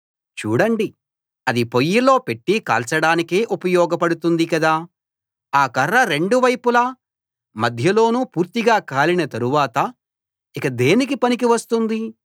చూడండి అది పొయ్యిలో పెట్టి కాల్చడానికే ఉపయోగపడుతుంది కదా ఆ కర్ర రెండు వైపులా మధ్యలోనూ పూర్తిగా కాలిన తరువాత ఇక దేనికి పనికి వస్తుంది